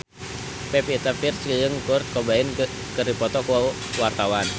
Pevita Pearce jeung Kurt Cobain keur dipoto ku wartawan